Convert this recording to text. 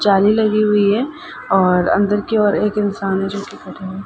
जाली लगी हुई है और अंदर के ओर एक इन्सान है जो कि खड़े है|